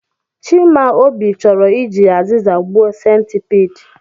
Chimaobi choro iji aziza gbuo centipede